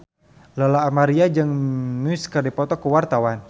Lola Amaria jeung Muse keur dipoto ku wartawan